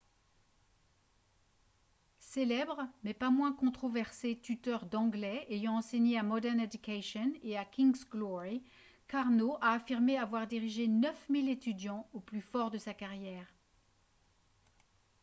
célèbre mais pas moins controversé tuteur d'anglais ayant enseigné à modern education et à king's glory karno a affirmé avoir dirigé 9 000 étudiants au plus fort de sa carrière